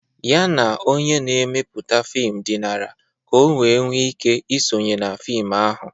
Ya na onye na-emepụta fim dinara ka o wee nwee ike isonye na fim ahụ.